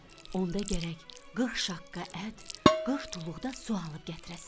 Onda gərək 40 şaqqa ət, 40 tuluqda su alıb gətirəsən.